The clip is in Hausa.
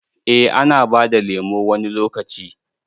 Eh ana bada lemo wani lokaci.